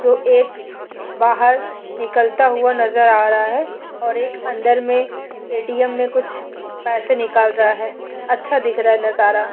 जो एक बाहर निकलता हुआ नजर आ रहा है और एक अंदर में एटीएम में कुछ पैसा निकाल रहा है। अच्छा दिख रहा है नजरा।